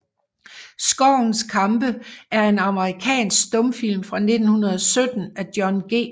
Skovens kampe er en amerikansk stumfilm fra 1917 af John G